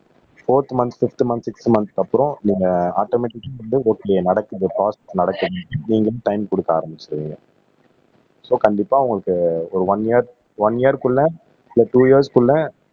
போர்த் month fifth months six மந்த்ஸ்க்கு அப்புறம் நீங்க ஆட்டோமேட்டிக் வந்து நீங்களும் டைம் கொடுக்க ஆரம்பிச்சுருவீங்க சோ கண்டிப்பா உங்களுக்கு ஒரு ஒன் இயர் ஒன் இயர்க்குள்ள இல்ல டூ இயர்ஸ்குள்ள